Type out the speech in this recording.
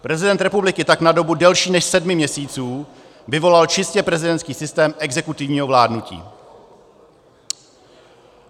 Prezident republiky tak na dobu delší než sedmi měsíců vyvolal čistě prezidentský systém exekutivního vládnutí.